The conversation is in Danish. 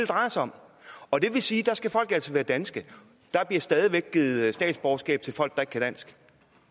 drejer sig om og det vil sige at der skal folk altså være danske der bliver stadig væk givet statsborgerskab til folk der ikke kan dansk